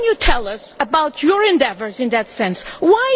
What can you tell us about your endeavours in that regard?